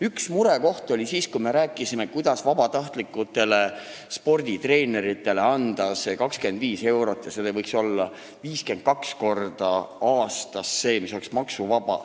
Üks murekoht oli siis, kui me rääkisime, kuidas vabatahtlikele sporditreeneritele anda 25 eurot, mis võiks 52 korda aastas olla maksuvaba.